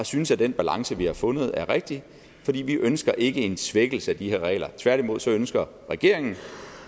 synes at den balance vi har fundet er rigtig fordi vi ikke ønsker en svækkelse af de her regler tværtimod ønsker regeringen